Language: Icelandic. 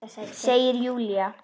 Segir Júlía.